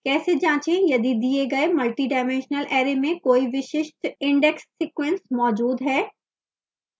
कैसे जाँचें यदि दिए गए multidimensional array में कोई विशिष्ट index sequence मौजूद है